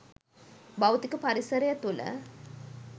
භෞතික පරිසරය තුළ